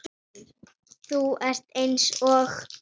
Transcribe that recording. Þú ert eins og